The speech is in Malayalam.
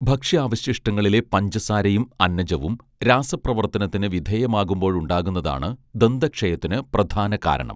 ഭക്ഷ്യാവശിഷ്ടങ്ങളിലെ പഞ്ചസാരയും അന്നജവും രാസപ്രവർത്തനത്തിന് വിധേയമാകുമ്പോഴുണ്ടാകുന്നതാണ് ദന്തക്ഷയത്തിന് പ്രധാന കാരണം